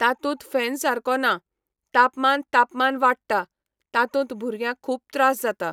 तातूंत फॅन सारको ना, तापमान तापमान वाडटा, तातूंत भुरग्यांक खूब त्रास जाता.